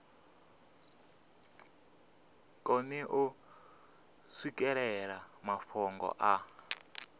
koni u swikelela mafhungo a